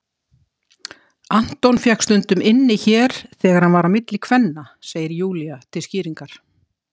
Anton fékk stundum inni hér þegar hann var á milli kvenna, segir Júlía til skýringar.